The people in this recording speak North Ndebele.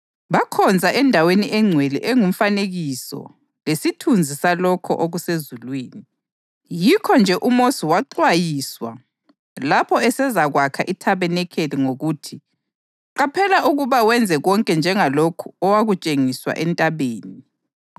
Bakhonza endaweni engcwele engumfanekiso lesithunzi salokho okusezulwini. Yikho-nje uMosi waxwayiswa lapho esezakwakha ithabanikeli ngokuthi: “Qaphela ukuba wenze konke njengalokhu owakutshengiswa entabeni.” + 8.5 U-Eksodasi 25.40